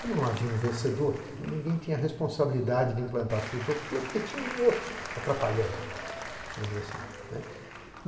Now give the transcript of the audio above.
Como não havia um vencedor, ninguém tinha a responsabilidade de implantar a sua utopia porque tinha um outro atrapalhando.